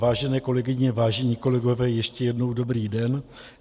Vážené kolegyně, vážení kolegové, ještě jednou dobrý den.